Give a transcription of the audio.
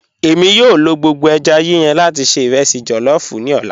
Ẹ̀mi yòó lọ gbogbo èjá yíyàn lati ṣẹ̀ irẹsí jollof ni ọlá.